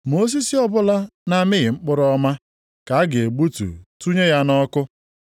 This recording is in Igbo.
Ma osisi ọbụla na-amịghị mkpụrụ ọma ka a ga-egbutu tụnye ya nʼọkụ.